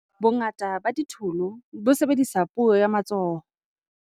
bongata ba ditholo bo sebedisa puo ya matsoho